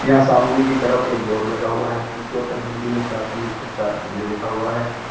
यहां सामने की तरफ एक बोर्ड लगा हुआ है जिसके ऊपर हिंदी में प्राथमिक उपचार केंद्र लिखा हुआ है।